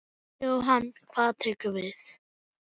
Jóhann: Hvað tekur við?